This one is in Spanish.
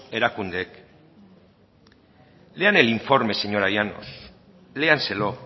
erakundeek lean el informe señora llanos léanselo